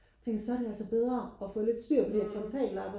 tænker så er det altså bedre og få lidt styr på de der frontallapper